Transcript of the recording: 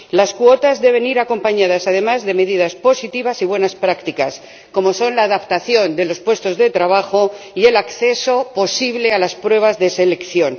Las cuotas deben ir acompañadas, además, de medidas positivas y buenas prácticas, como son la adaptación de los puestos de trabajo y el acceso posible a las pruebas de selección.